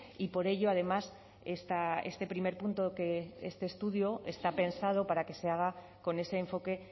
y por ello además este primer punto que este estudio está pensado para que se haga con ese enfoque